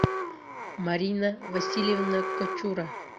марина васильевна кочура